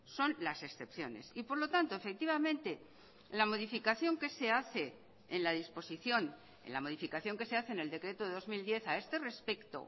son las excepciones y por lo tanto efectivamente la modificación que se hace en la disposición en la modificación que se hace en el decreto de dos mil diez a este respecto